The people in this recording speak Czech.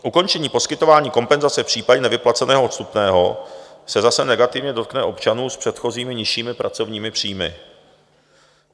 Ukončení poskytování kompenzace v případě nevyplaceného odstupného se zase negativně dotkne občanů s předchozími nižšími pracovními příjmy.